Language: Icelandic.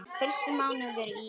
Fyrstu mánuðir í